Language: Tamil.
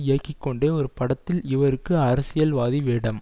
இயக்கி கொண்டே ஒரு படத்தில் இவருக்கு அரசியல்வாதி வேடம்